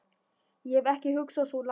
Ég hef ekki hugsað svo langt.